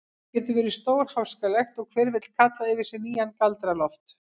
Það getur verið stórháskalegt og hver vill kalla yfir sig nýjan Galdra-Loft.